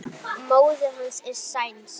Móðir hans er sænsk.